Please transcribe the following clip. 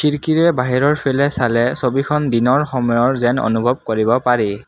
খিৰকিৰে বাহিৰৰফিলে চালে ছবিখন দিনৰ সময়ৰ যেন অনুভৱ কৰিব পাৰি।